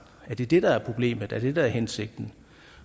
er det det der er problemet er det det der er hensigten